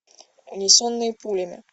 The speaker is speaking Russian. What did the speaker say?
унесенные пулями